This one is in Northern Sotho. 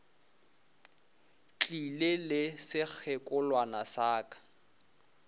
tlile le sekgekolwana sa ka